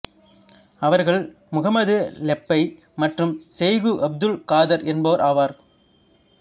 அவர்கள் முஹம்மது லெப்பை மற்றும் செய்கு அப்துல் காதர் என்போர் ஆவர்